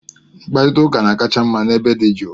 Mkparịta ụka na-akacha mma n'ebe dị jụụ